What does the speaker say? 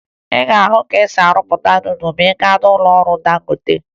Ị ga-ahụ ka e si arụpụta nudụ ma ị gaa n'ụlọọrụ Dangote